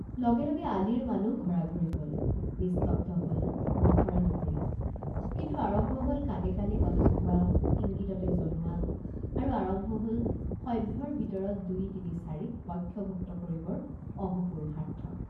লগে লগে আলিৰ মানুহ ঘৰাঘৰি গল নিস্তব্ধ হল মুখৰা নগৰী কিন্তু আৰম্ভ হল কাণে কাণে কথা কোৱা ইঙ্গিততে জনোৱা আৰু আৰম্ভ হল সভ্যৰ ভিতৰত দুইতিনিচাৰিক পক্ষভুক্ত কৰিবৰ অহোপুৰুষাৰ্থ।